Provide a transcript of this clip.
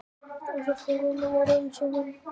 En svo fór að ég varð eins og hún.